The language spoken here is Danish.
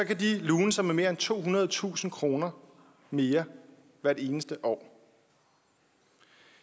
de lune sig med mere end tohundredetusind kroner mere hvert eneste år